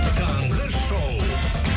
таңғы шоу